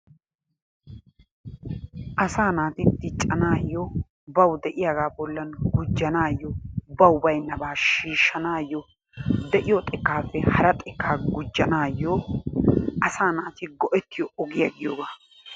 Asaa naati diccanaayyo bawu de'iyagaa bollan gujjanaayyo bawu baynnabaa shiishshanaayyo de'iyo xekkaappe hara xekkaa gujjanaayyo asaa naati go'ettiyo ogiya giyogaa.